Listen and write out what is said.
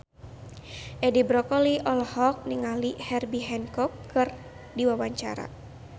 Edi Brokoli olohok ningali Herbie Hancock keur diwawancara